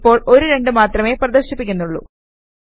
ഇപ്പോൾ ഒരു 2 മാത്രമേ പ്രദർശിപ്പിക്കുന്നുള്ളൂ